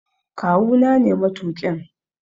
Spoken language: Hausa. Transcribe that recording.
Kawu na ne matuƙin.